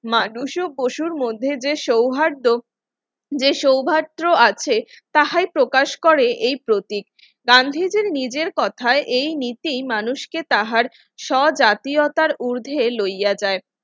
মানুষ ও পশুর মধ্যে যে সৌহার্দ্য যে সৌভাত্র আছে তাহাই প্রকাশ করে এই প্রতীক গান্ধীজীর নিজের কথায় এই নীতি মানুষকে তাহার সজাতীয়তার ঊর্ধ্বে লইয়া যায়